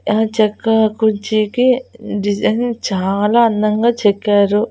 Yeah చెక్క కుర్చీకి design చాలా అందంగా చెక్కారు.